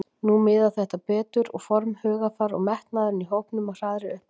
Nú miðar þetta betur og form, hugarfar og metnaðurinn í hópnum á hraðri uppleið.